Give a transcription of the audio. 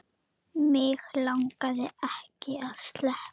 Mig langaði ekki að sleppa.